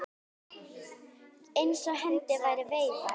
Eins og hendi væri veifað.